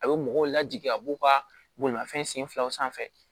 A bɛ mɔgɔw lajigin a b'u ka bolimafɛn sen filaw sanfɛ